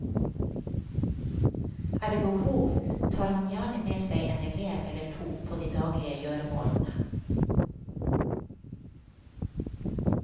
Er det behov, tar han gjerne med seg en elev eller to på de daglige gjøremålene.